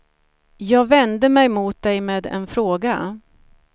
Jag vände mig mot dig med en fråga.